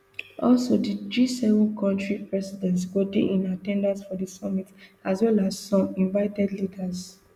all di gseven kontri presidents go dey in at ten dance for di summit as well as some invited leaders